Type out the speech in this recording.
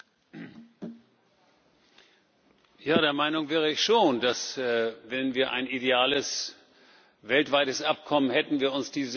Ja, der Meinung wäre ich schon, dass, wenn wir ein ideales weltweites Übereinkommen hätten, wir uns diese bilateralen Abkommen alle sparen könnten.